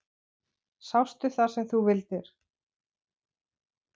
Sástu það sem þú vildir?